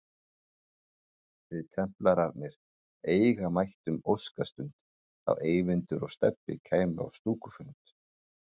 Við templararnir eiga mættum óskastund þá Eyvindur og Stebbi kæmu á stúkufund